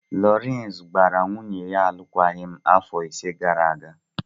Lawrence gbara nwunye ya alụkwaghịm afọ ise gara aga.